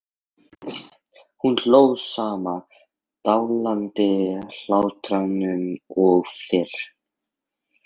Hún hló sama dillandi hlátrinum og fyrr.